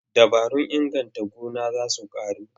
Dabarun inganta noma za su ƙaru.